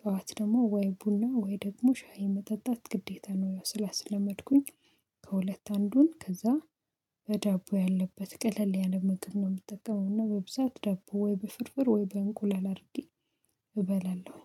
ጠዋት ደግሞ ወይ ቡና ወይ ደግሞ ሻይ መጠጣት ግዴታ ነው ያው ስላስለመድኩኝ። ከሁለት አንዱን ከዛ በዳቦ ያለበት ቀለል ያለ ምግብ የምጠቀመውና በብዛት ዳቦ ወይ በፍርፍር ወይ በእንቁለል አድርጌ። እበላለሁ